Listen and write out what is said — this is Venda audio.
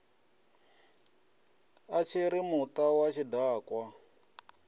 a tshiri muta wa tshidakwa